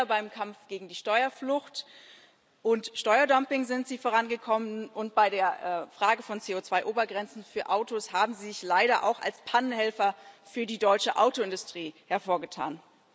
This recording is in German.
Beim Kampf gegen die Steuerflucht und Steuerdumping sind Sie nicht vorangekommen, und bei der Frage von CO2 Obergrenzen für Autos haben Sie sich leider auch als Pannenhelfer für die deutsche Autoindustrie hervorgetan.